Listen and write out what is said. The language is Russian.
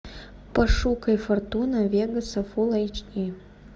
пошукай фортуна вегаса фул эйч ди